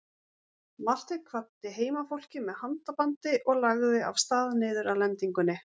Marteinn kvaddi heimafólkið með handabandi og lagði af stað niður að lendingunni.